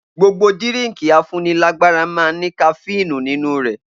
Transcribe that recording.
Gbogbo dirínkì à fún ní làgbàrà mà ń ní kàfinú ninu rẹ